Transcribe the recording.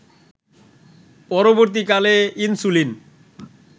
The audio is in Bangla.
পরবর্তীকালে ইনসুলিন